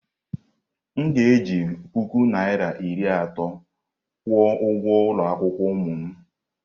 M ga-eji puku naira iri atọ kwụọ ụgwọ ụlọ akwụkwọ ụmụ m.